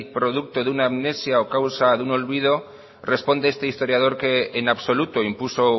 producto de un amnesia o causa de un olvido responde este historiador que en absoluto impuso